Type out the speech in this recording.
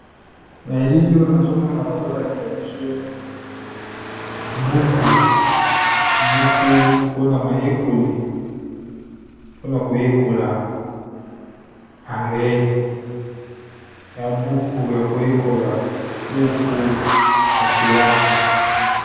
na elimi oyo nazomona bazolakisa biso bubuku mpona mayekoli mpona koyekola anglais ya buku ya koyekola buku ya kelasi